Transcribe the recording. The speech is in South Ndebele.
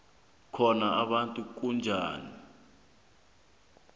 khona umuntu onzima